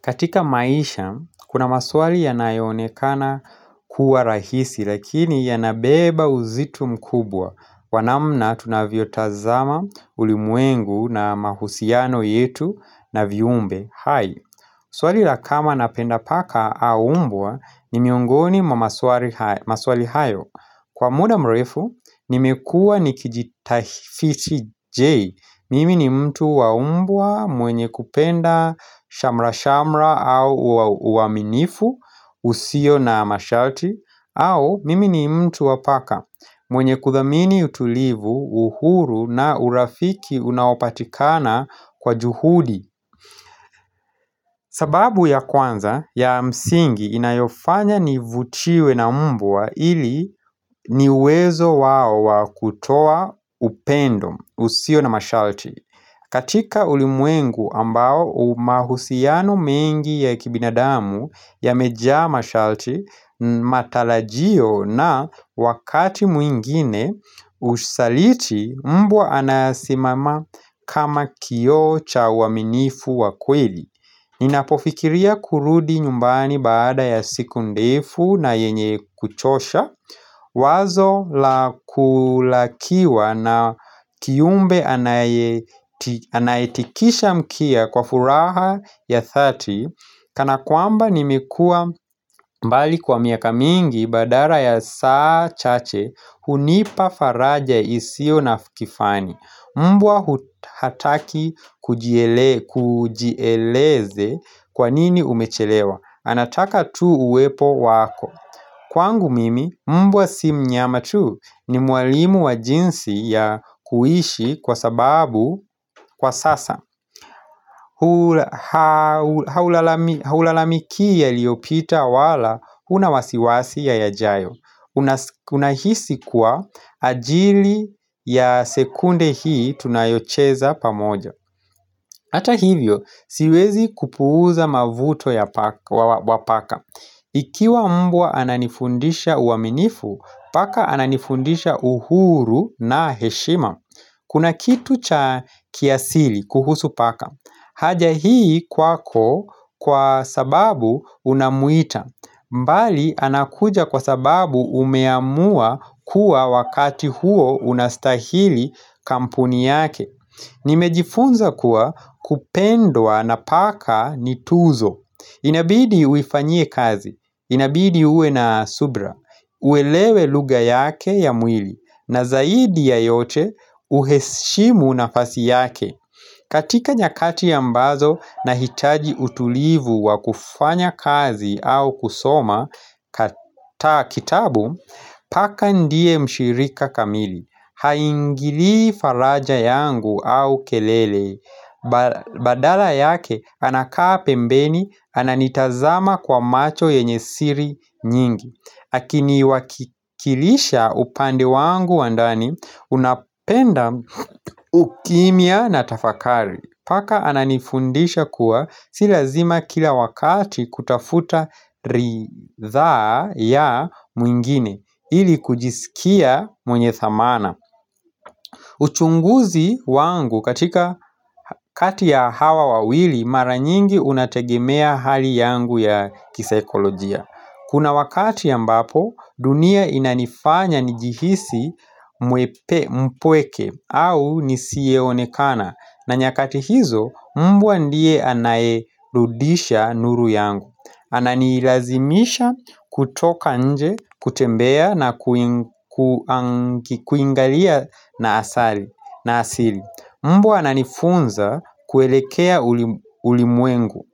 Katika maisha, kuna maswali yanayoonekana kuwa rahisi, lakini yanabeba uzito mkubwa. Wa namna tunavyo tazama ulimwengu na mahusiano yetu na viumbe. Hai, swali la kama napenda paka aumbwa ni miongoni mwa maswali hayo. Kwa muda mrefu, nimekuwa nikijitafiti jei. Mimi ni mtu wa umbwa mwenye kupenda shamra shamra au uaminifu usio na mashalti au mimi ni mtu wa paka mwenye kuthamini utulivu uhuru na urafiki unaopatikana kwa juhudi sababu ya kwanza ya msingi inayofanya nivutiwe na umbwa ili ni uwezo wao wakutoa upendo usio na mashalti katika ulimwengu ambao umahusiano mengi ya kibinadamu yameja mashalti matalajio na wakati mwingine ushaliti mbwa anasimama kama kioo cha uaminifu wakweli. Ninapofikiria kurudi nyumbani baada ya siku ndefu na yenye kuchosha Wazo la kulakiwa na kiumbe anaye anayetikisha mkia kwa furaha ya thati Kana kwamba nimekua mbali kwa miaka mingi badara ya saa chache hunipa faraja isio na fikifani Mbwa hataki kujie kujieleze kwa nini umechelewa anataka tu uwepo wako Kwangu mimi, mbwa si mnyama tu ni mwalimu wa jinsi ya kuishi kwa sababu kwa sasa Haulalamikii yaliopita wala huna wasiwasi ya yajayo Unahisi kuwa ajili ya sekunde hii tunayocheza pamoja Ata hivyo siwezi kupuuza mavuto ya wa paka Ikiwa mbwa ananifundisha uaminifu Paka ananifundisha uhuru na heshima Kuna kitu cha kiasili kuhusu paka haja hii kwako kwa sababu unamuita mbali anakuja kwa sababu umeamua kuwa wakati huo unastahili kampuni yake Nimejifunza kuwa kupendwa na paka nituzo Inabidi uifanyie kazi, inabidi ue na subra uelewe luga yake ya mwili na zaidi ya yote uheshimu nafasi yake katika nyakati ambazo na hitaji utulivu wa kufanya kazi au kusoma kata kitabu, paka ndiye mshirika kamili, haingili faraja yangu au kelele, badala yake anakaa pembeni, ananitazama kwa macho yenye siri nyingi Hakini wakikilisha upande wangu wandani unapenda ukimya na tafakari Paka ananifundisha kuwa si lazima kila wakati kutafuta ridhaa ya mwingine ili kujisikia mwenye thamana uchunguzi wangu katika kati ya hawa wawili mara nyingi unategemea hali yangu ya kisaikolojia Kuna wakati ambapo dunia inanifanya nijihisi mwepe mpweke au nisiyeonekana na nyakati hizo mbwa ndiye anayerudisha nuru yangu ana nilazimisha kutoka nje kutembea na kuingalia na asili Mbwa ananifunza kuelekea ulimwengu